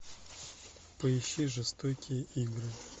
поищи жестокие игры